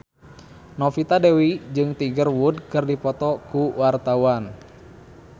Novita Dewi jeung Tiger Wood keur dipoto ku wartawan